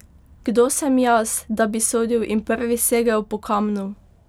Kdo sem jaz, da bi sodil in prvi segel po kamnu!